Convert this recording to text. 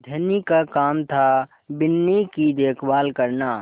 धनी का काम थाबिन्नी की देखभाल करना